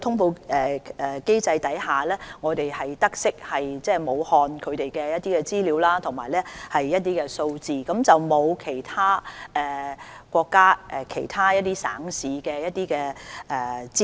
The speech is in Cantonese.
透過通報機制，我們得悉武漢的有關資料和數字，但未獲國家其他省市的有關資料。